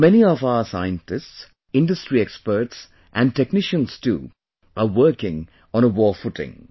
So many of our scientists, industry experts and technicians too are working on a war footing